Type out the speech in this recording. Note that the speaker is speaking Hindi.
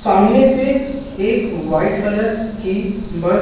सामने से एक व्हाइट कलर की बस --